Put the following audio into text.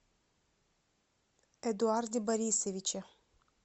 эдуарде борисовиче